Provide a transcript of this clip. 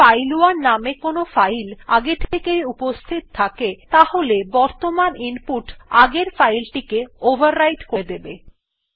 যদি ফাইল1 নামে কোনো ফাইল আগে থেকেই উপস্হিত থাকে তাহলে বর্তমান ইনপুট আগের ফাইল টিকে ওভাররাইট করে দেবে